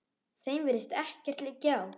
Þeim virðist ekkert liggja á.